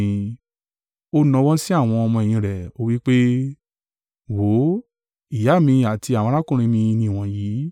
Ó nawọ́ sí àwọn ọmọ-ẹ̀yìn rẹ̀, ó wí pé, “Wò ó, ìyá mi àti àwọn arákùnrin mi ni wọ̀nyí.”